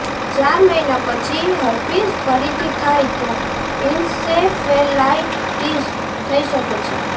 ચાર મહિના પછી હર્પીઝ ફરીથી થાય તો ઈન્સેફેલાઈટિસ થઈ શકે છે